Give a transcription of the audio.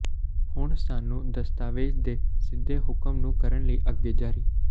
ਹੁਣ ਸਾਨੂੰ ਦਸਤਾਵੇਜ਼ ਦੇ ਸਿੱਧੇ ਹੁਕਮ ਨੂੰ ਕਰਨ ਲਈ ਅੱਗੇ ਜਾਰੀ